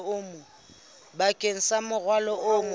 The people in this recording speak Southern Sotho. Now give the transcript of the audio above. bakeng sa morwalo o mong